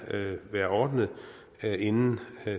være ordnet inden